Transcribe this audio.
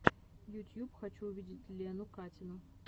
ютьюб хочу увидеть лену катину